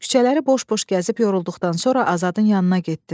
Küçələri boş-boş gəzib yorulduqdan sonra Azadın yanına getdim.